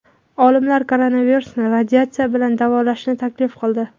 Olimlar koronavirusni radiatsiya bilan davolashni taklif qildi.